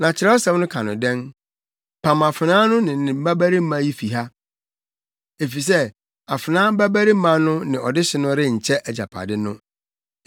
Na Kyerɛwsɛm no ka dɛn? “Pam afenaa no ne ne babarima yi fi ha; efisɛ afenaa babarima no ne ɔdehye no renkyɛ agyapade no.”